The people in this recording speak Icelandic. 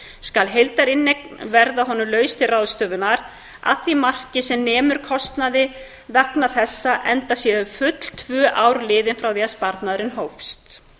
skal heildarinneignin vera honum laus til ráðstöfunar að því marki sem nemur kostnaði vegna þessa enda séu þá full tvö ár liðin frá því að sparnaður hófst